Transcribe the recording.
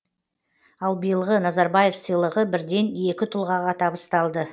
ал биылғы назарбаев сыйлығы бірден екі тұлғаға табысталды